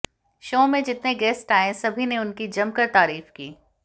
show में जितने guest आए सबी ने उनकी जमकर तारीफ की